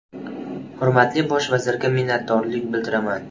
Hurmatli Bosh vazirga minnatdorlik bildiraman”.